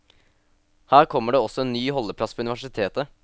Her kommer det også en ny holdeplass for universitetet.